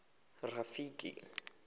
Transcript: rafiki